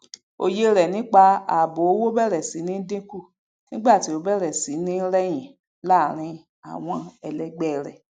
oye re nipa ààbò owó bẹrẹ sí ní dínkù nigba ti o bèrè sí ní reyin láàrin àwọn ẹlẹgbẹ rẹ